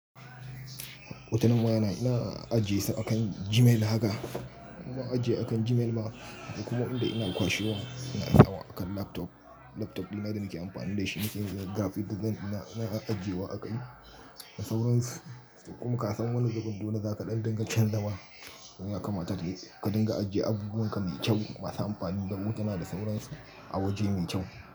Hutunan wayana ina ajiye su akan Gmail haka. Ma ajiye akan Gmail ma da kuma inda ina kwashiwo, ina hawa akan laptop. Laptop dina da muke amfani da shi, muke yin graphic design ina na ajiyewa a kai da sauransu. Kuma ka san wani zubun dole za ka ɗan dinga canja man. Ya kamata ka dinga ajjiye abubuwan ka mai kyau, masu amfani da wuta da sauransu a waje mai kyau.